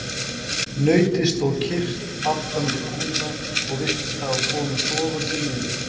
Nautið stóð kyrrt aftan við kúna og virtist hafa komið sofandi niður.